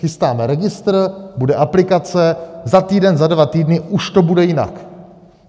Chystáme registr, bude aplikace, za týden, za dva týdny, už to bude jinak.